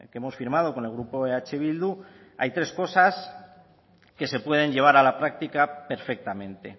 hemos firmado con el grupo eh bildu hay tres cosas que se pueden llevar a la práctica perfectamente